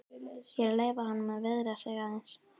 Ég er að leyfa honum að viðra sig aðeins.